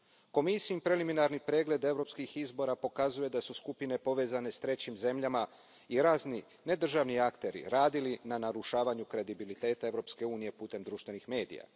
Komisijin preliminarni pregled europskih izbora pokazuje da su skupine povezane s trećim zemljama i razni nedržavni akteri radili na narušavanju kredibiliteta Europske unije putem društvenih medija.